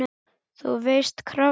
þú veist- krafta.